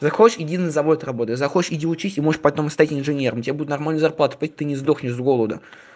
захочешь иди на завод работай захочешь где учись и может потом стать инженером тебе будут нормальную зарплату платить ты не сдохнешь с голоду